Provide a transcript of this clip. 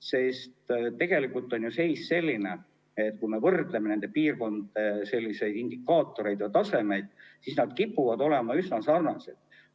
Sest tegelikult on ju seis selline, et kui me võrdleme nende piirkondade indikaatoreid ja tasemeid, siis nad kipuvad olema üsna sarnased.